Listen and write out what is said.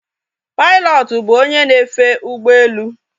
Pilọtụ bụ onye na-efe ụgbọelu